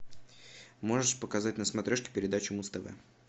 можешь показать на смотрешке передачу муз тв